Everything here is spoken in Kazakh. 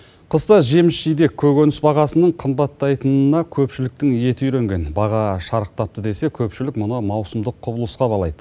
қыста жеміс жидек көкөніс бағасының қымбаттайтынына көпшіліктің еті үйренген баға шарықтапты десе көпшілік мұны маусымдық құбылысқа балайды